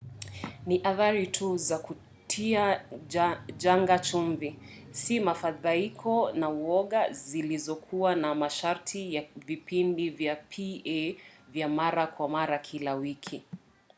ni athari tu za kutia janga chumvi si mafadhaiko na uoga zilizokuwa na masharti ya vipindi vya pa vya mara kwa mara kila wiki